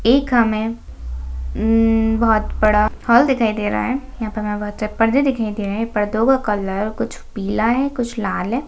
एक हमें उम् बहुत बड़ा हॉल दिखाई दे रहा है यहाँ पर हमें बहुत सारे परदे दिखाई दे रहें हैं परदों का कलर कुछ पीला है कुछ लाल है।